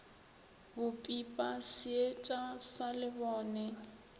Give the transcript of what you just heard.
bo pipa seetša sa lebone